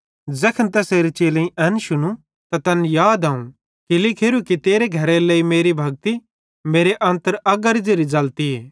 ज़ैखन तैसेरे चेलेईं एन शुनू त तैनन् याद आव कि परमेशरेरी किताबी मां लिखोरूए कि मसीहे परमेशरे सेइं ज़ोवं तेरे घरेरे लेइ मेरी भक्ति हे परमेशर मेरे अन्तर अगारी ज़ेरि ज़लतीए